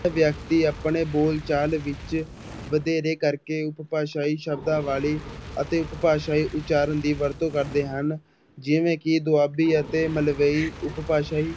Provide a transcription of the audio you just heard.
ਵਿਅਕਤੀ ਆਪਣੇ ਬੋਲਚਾਲ ਵਿੱਚ ਵਧੇਰੇ ਕਰਕੇ ਉਪਭਾਸ਼ਾਈ ਸ਼ਬਦਾਂ ਵਾਲੀ ਅਤੇ ਉਪਭਾਸ਼ਾਈ ਉਚਾਰਨ ਦੀ ਵਰਤੋਂ ਕਰਦੇ ਹਨ, ਜਿਵੇਂ ਕਿ ਦੁਆਬੀ ਅਤੇ ਮਲਵਈ ਉਪਭਾਸ਼ਾਈ